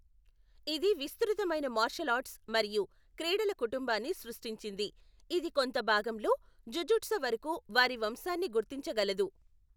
ఇది విస్తృతమైన martial arts మరియు క్రీడల కుటుంబాన్ని సృష్టించింది, ఇది కొంత భాగంలో జుజుట్సు వరకు వారి వంశాన్ని గుర్తించగలదు.